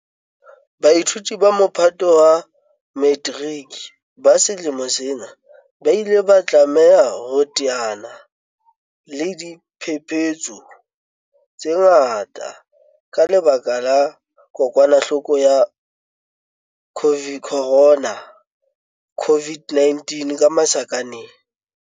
Baithuti ba Mophato wa Metiriki ba selemo sena ba ile ba tlameha ho teana le diphephetso tse ngata ka lebaka la kokwanahloko ya corona, CO-VID-19.